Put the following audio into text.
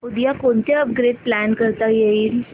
उद्या कोणतं upgrade plan करता येईल